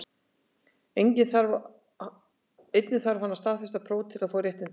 Einnig þarf hann að standast próf til að fá réttindin.